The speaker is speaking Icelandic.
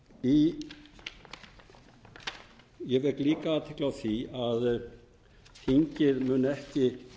hætti ég vek líka athygli á því að þingið mun ekki